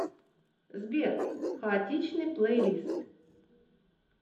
сбер хаотичный плейлист